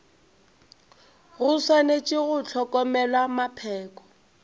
go swanetše go hlokomelwa mapheko